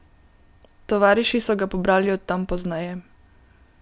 Tovariši so ga pobrali od tam pozneje.